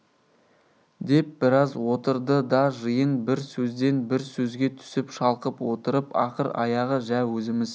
деп біраз отырды да жиын бір сөзден бір сөзге түсіп шалқып отырып ақыр аяғы жә өзіміз